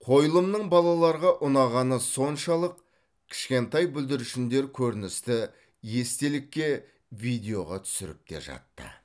қойылымның балаларға ұнағаны соншалық кішкентай бүлдіршіндер көріністі естелікке видеоға түсіріп те жатты